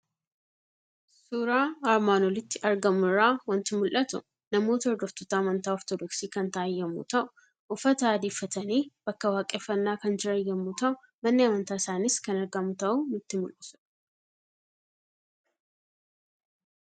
Suuraa armaan olitti argamu irraa waanti mul'atu; namoota hordoftoota amantaa ortoodoksii kan ta'an yommuu ta'u, uffata adii uffatanii bakka waaqeffannna kan jiran yommuu ta'u manni amantaa isaanis kan argmu ta'uu nutti mul'isudha.